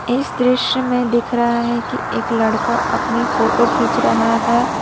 इस दृश्य में दिख रहा है कि एक लड़का अपनी फोटो खींच रहा है।